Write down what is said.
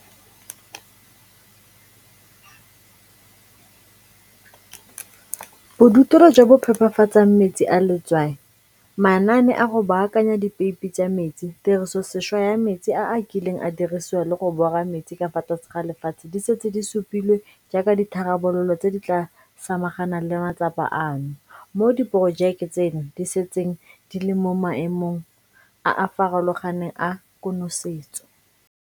Bodutelo jo bo phepafatsang metsi a letswai, manaane a go baakanya dipeipi tsa metsi, tirisosešwa ya metsi a a kileng a dirisiwa le go bora metsi ka fa tlase ga lefatshe di setse di supilwe jaaka ditharabololo tse di tla samaganang le matsapa ano, moo diporojeke tseno di setseng di le mo maemong a a farologaneng a konosetso.